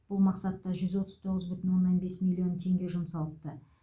бұл мақсатта жүз отыз тоғыз бүтін оннан бес миллион теңге жұмсалыпты